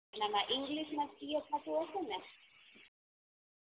આમા ઇંગ્લિશ માં સીએ થતું હસે ને